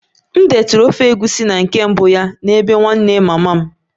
M detụrụ ofe egusi na nke mbụ ya n'bee nwanne mama m